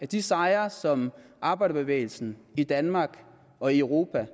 de sejre som arbejderbevægelsen i danmark og i europa